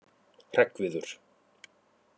Hreggviður